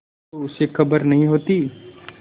तो उसे खबर नहीं होती